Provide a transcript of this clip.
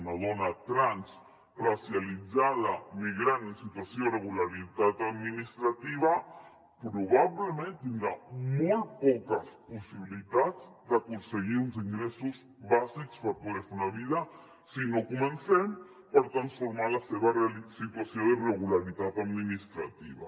una dona trans racialitzada migrant en situació d’irregularitat administrativa probablement tindrà molt poques possibilitats d’aconseguir uns ingressos bàsics per poder fer la vida si no comencem per transformar la seva situació d’irregularitat administrativa